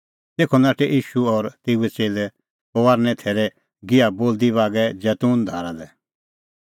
तेखअ नाठै तिंयां भज़न बोलदी बागै जैतून धारा लै